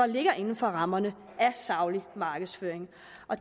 ligger inden for rammerne af saglig markedsføring